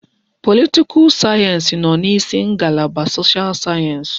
Politikal sayensị nọ n'isi ngalaba soshal sayensị.